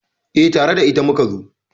Eh, tare da ita muka zo